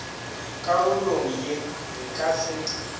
karolong ye re ka se